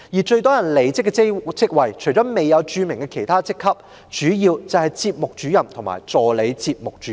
最多人離職的職位，除了未有註明的其他職級外，主要就是節目主任和助理節目主任。